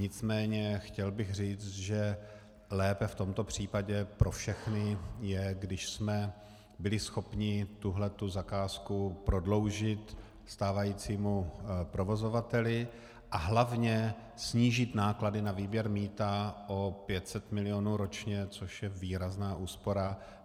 Nicméně chtěl bych říct, že lépe v tomto případě pro všechny je, když jsme byli schopni tuto zakázku prodloužit stávajícímu provozovateli a hlavně snížit náklady na výběr mýta o 500 milionů ročně, což je výrazná úspora.